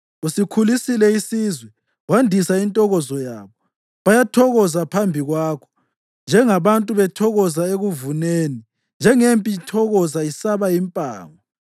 Usikhulisile isizwe wandisa intokozo yabo, bayathokoza phambi kwakho njengabantu bethokoza ekuvuneni, njengempi ithokoza isaba impango.